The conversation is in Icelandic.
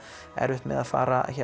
erfitt með að fara